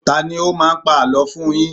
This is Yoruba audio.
Tani ó máa ń pa àlọ́ fún un yín?